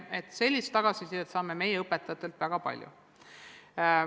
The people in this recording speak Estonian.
Just sellist tagasisidet saame meie õpetajatelt väga palju.